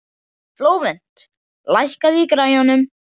Flóvent, lækkaðu í græjunum.